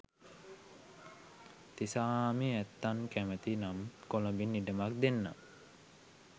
තිසාහාමි ඇත්තන් කැමති නම් කොළඹින් ඉඩමක් දෙන්නම්